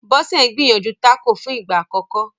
Bose n gbìyànjú Taco fún ìgbà àkókò